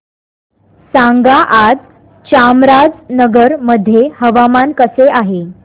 सांगा आज चामराजनगर मध्ये हवामान कसे आहे